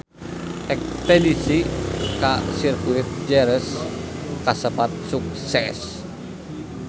Espedisi ka Sirkuit Jerez kasebat sukses